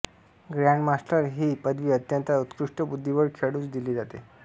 grandmaster ही पदवी अत्यंत उत्कृष्ट बुद्धिबळ खेळाडूस दिली जाते